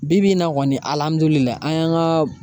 Bi bi in na kɔni an y'an ka